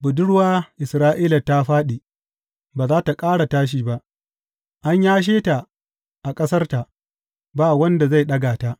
Budurwa Isra’ila ta fāɗi, ba za tă ƙara tashi ba, an yashe ta a ƙasarta, ba wanda zai ɗaga ta.